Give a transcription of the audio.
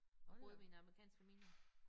Så boede vi i en amerikansk familie